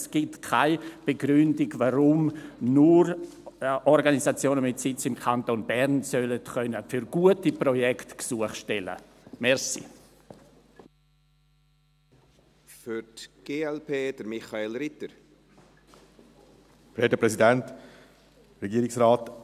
Es gibt keine Begründung, warum nur Organisationen mit Sitz im Kanton Bern für gute Projekte Gesuche stellen können sollen.